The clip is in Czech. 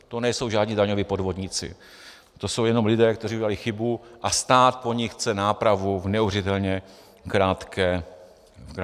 To nejsou žádní daňoví podvodníci, to jsou jenom lidé, kteří udělali chybu, a stát po nich chce nápravu v neuvěřitelně krátké době.